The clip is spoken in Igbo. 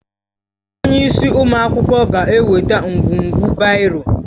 Onye isi ụmụ akwụkwọ ga-eweta ngwugwu baịro